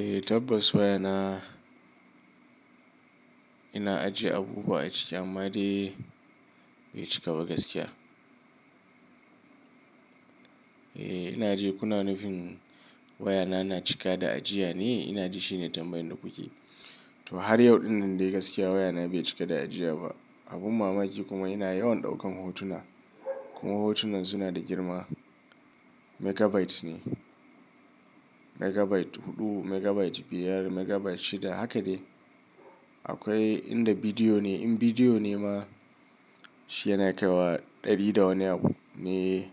Eh, tabbas wayana ina ajiye abubuwa a ciki amma dai bai cika ba gaskiya. Eh, ina ji kuna nufin wayana na cika da ajiya ne? Ina ji shine tambayan da kuke. To har yau ɗinnan dai gaskiya wayana bai cika da ajiya ba. Abun mamaki kuma yana yawan ɗaukan hotuna. Kuma hotunan suna da girma. Megabytes ne. Megabyte huɗu, megabyte biyar, megabyte shida haka dai. Akwai inda bidiyo ne. In bidiyo ne ma shi yana kai wa ɗari da wani abu ne,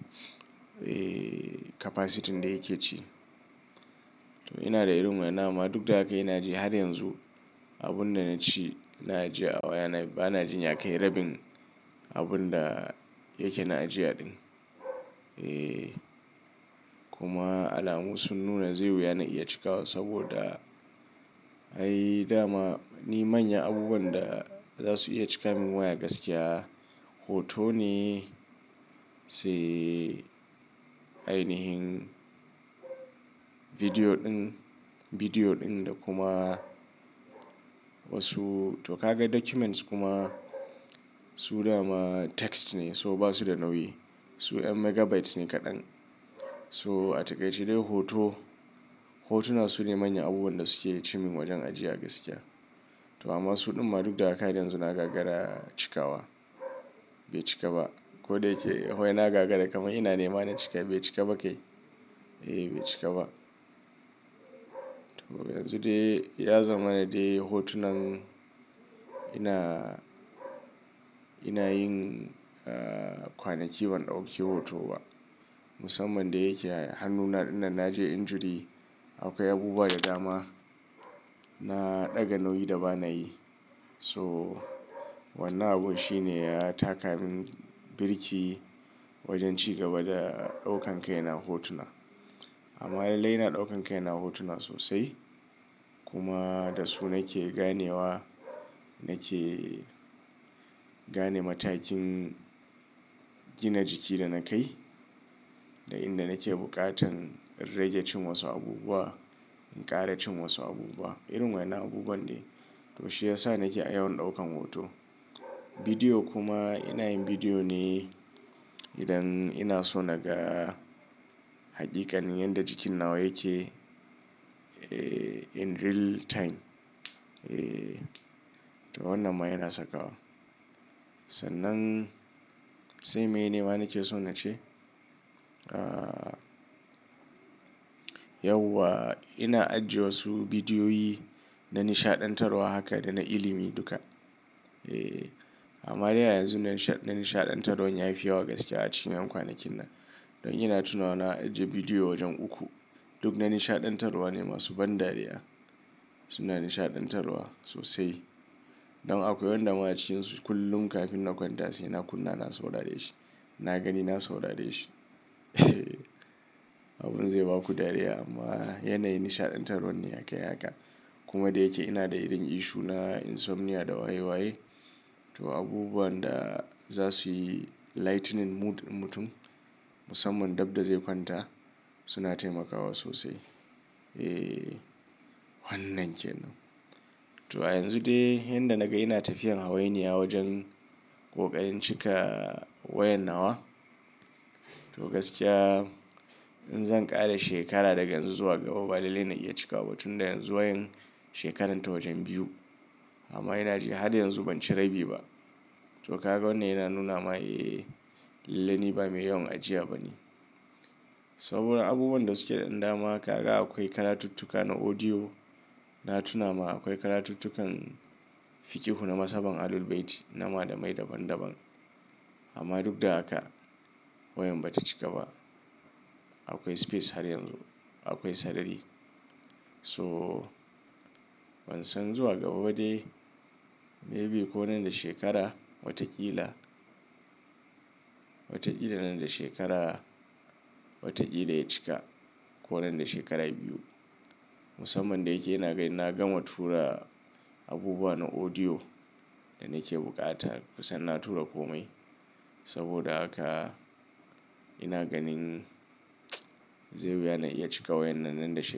eh, capacitin da yake ci. To ina da irin wayannan amma duk da haka ina ji har yanzu abun da naci ina ji a wayana bana jin ya kai rabin abun da yake na ajiya ɗin. Eh, kuma alamu sun nuna zai yi wuya na iya cikawa saboda, ai dama ni manyan abubuwan da za su iya cika min waya gaskiya hoto ne, sai ainihin bidiyo ɗin, bidiyo ɗin da kuma wasu to ka ga documents kuma su dama text ne so ba su da nauyi. Su 'yan megabytes ne kaɗan. To a takaice dai hoto, hotuna sune manyan abubuwan da suke ci min wajen ajiya gaskiya. To amma su ɗin ma duk da haka har yanzu na gagara cikawa. Bai cika ba. Ko da yake wai na gagara kaman ina ne ma na cika bai cika ba kai? Eh bai cika ba. To yanzu dai ya zama na dai hotunan ina, ina yin, eh kwanaki ban ɗauki hoto ba. Musamman da yake hannuna dinnan naje injury. Akwai abubuwa da dama na ɗaga nauyi da ba na yi. So wannan abun shi ne ya taka min birki wajen ci gaba da ɗaukan kaina hotuna. Amma lallai ina ɗaukan kai na hotuna sosai. Kuma da su nake ganewa nake gane matakin gina jiki da na kai. Da inda nake buƙatan rage cin wasu abubuwa, in ƙara cin wasu abubuwa. Irin waya nnan abubuwan dai. To shi ya sa nake a yawan ɗaukan hoto. Bidiyo kuma ina yin bidiyo ne idan ina so naga hakikanin yanda jikin nawa yake, eh, in real time. Eh, to wannan ma yana saka wa. Sannan sai meye ne ma nake so na ce? Ah, yau wa ina ajiye wasu bidiyoyi na nishaɗantarwa haka da na ilimi duka. Eh, amma dai a yanzun nan nisha-- na nishaɗantarwan yafi yawa gaskiya a cikin yan kwanakinnan. Don ina tunawa na ajiye bidiyo wajen uku. Duk na nishaɗantarwa ne masu ban dariya. Su na nishaɗantarwa sosai. Don akwai wanda ma cikinsu kullum kafin na kwanta sai na kunna na saurare shi. Na gani na saurare shi. Eh Abun zai baku dariya amma yanayin nishaɗantarwan ne yake haka. Kuma da yake ina da irin issue na insomnia da waye waye. To abubuwan da za suyi lightening mood ɗin mutum musamman dabda zai kwanta suna taimakawa sosai. Eh, wannan ke nan. To a yanzu dai yanda na ga yana tafiyan hawainiya wajen kokarin cika wayan nawa. To gaskiya in zan ƙara shekara daga yanzu zuwa gaba ba lallai na iya cikawa ba tun da yanzu wayan shekaran ta wajen biyu. Amma ina ji har yanzu ban ci rabi ba. To ka ga wannan yana nuna ma eh, lallai ni ba mai yawan ajiya ba ne. Saboda abubuwan da suke da ɗan dama kaga akwai karatuttuka na audio. Na tuna ma akwai karatuttukan fikihu na Maslahan ahlul baiti na Malamai daban daban. Amma duk da haka wayan ba ta cika ba. Akwai space har yanzu. Akwai sarari. So ban san zuwa gaba ba dai maybe ko nan da shekara wataƙila. Wataƙila nan da shekara, wataƙila ya cika ko nan da shekara biyu. Musamman da yake ina ga inna gama tura abubuwa na audio da nake buƙata kusan na tura komai. Saboda haka ina ganin zai yi wuya na iya cika wayan na nan da shekara.